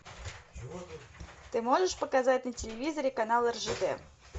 ты можешь показать на телевизоре канал ржд